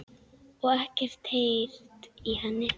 Og ekkert heyrt í henni?